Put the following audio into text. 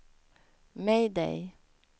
mayday